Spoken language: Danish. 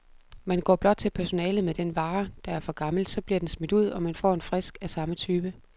Man går blot til personalet med den vare, der er for gammel, så bliver den smidt ud, og man får en frisk af samme type.